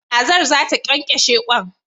Kazar zata kyankyashe kwan